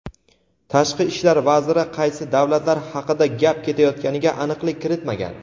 Tashqi ishlar vaziri qaysi davlatlar haqida gap ketayotganiga aniqlik kiritmagan.